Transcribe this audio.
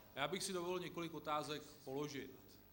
Já bych si dovolil několik otázek položit.